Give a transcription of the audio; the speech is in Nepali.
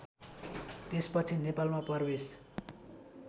त्यसपछि नेपालमा प्रवेश